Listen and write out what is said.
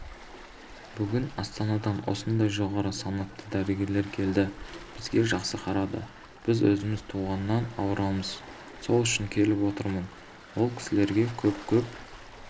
бүгін астанадан осындай жоғары санатты дәрігерлер келді бізге жақсы қарады біз өзіміз туғаннан ауырамыз сол үшін келіп отырмын ол кісілерге көп-көп